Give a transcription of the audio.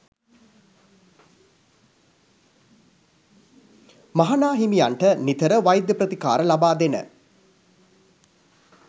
මහා නා හිමියන්ට නිතර වෛද්‍ය ප්‍රතිකාර ලබා දෙන